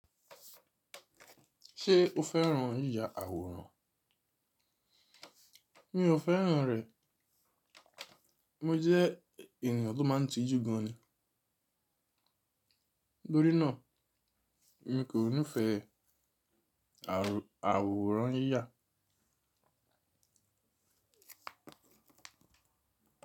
Ṣé o féràn yíya àwòrán? Mi ò féràn rẹ̀. Mo jẹ́ ènìyàn tó máa ń tijú gan ni. Tórí náà, mi kò nífẹ̀ẹ́ àwòrán yíya.